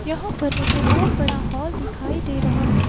यहाँ पर मुझे बहुत बड़ा हॉल दिखाई दे रहा है।